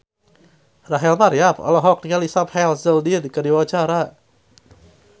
Rachel Maryam olohok ningali Sam Hazeldine keur diwawancara